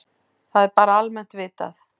Það er bara almennt vitað.